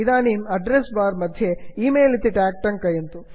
इदानीम् address bar मध्ये email इति ट्याग् टङ्कयन्तु